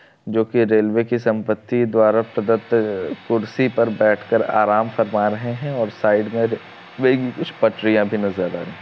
जो की रेल्वे की संपत्ति द्वारा पदत अ कुर्सी पर बैठ कर आराम फरमा रहे है और साइड मे र-रेल की कुछ पट्टरिया भी नजर आ--